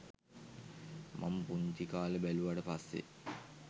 මං පුංචි කාලේ බැලුවට පස්සේ